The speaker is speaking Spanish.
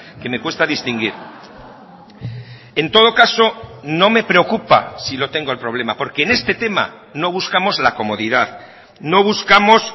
que me cuesta distinguir en todo caso no me preocupa si lo tengo el problema porque en este tema no buscamos la comodidad no buscamos